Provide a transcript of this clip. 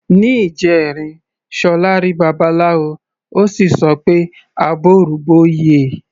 Ní ìjẹrin, Ṣọlá rí Babaláwo, ó sì sọ pé "àbọrú bọyè".